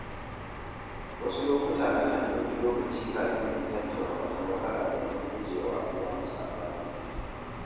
Wasu lokuta nakan ɗauki lokaci kafin in tattauna wata matsala domin guje wa yawan saɓani.